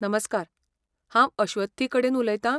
नमस्कार, हांव अश्वथी कडेन उलयतां?